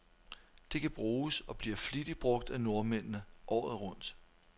Det kan bruges, og bliver flittigt brug af nordmændene, året rundt.